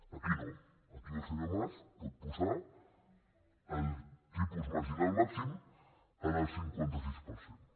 aquí no aquí el senyor mas pot posar el tipus marginal màxim en el cinquanta sis per cent